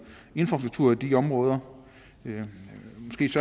infrastruktur i de områder